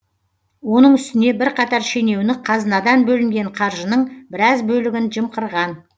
оның үстіне бірқатар шенеунік қазынадан бөлінген қаржының біраз бөлігін жымқырған